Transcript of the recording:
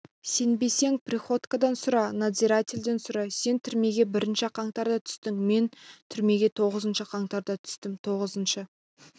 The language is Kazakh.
сенбесең приходькодан сұра надзирательден сұра сен түрмеге бірінші қаңтарда түстің мен түрмеге тоғызыншы қаңтарда түстім тоғызыншы